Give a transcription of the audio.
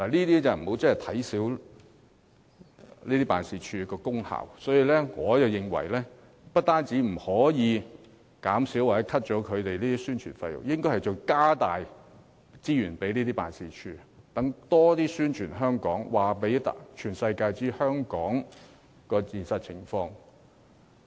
大家不應小看經貿辦的功效，我甚至認為不但不可削減其宣傳費用，反而應增撥資源，讓駐外經貿辦更多宣傳香港，讓世界各地人士了解香港的現實情況。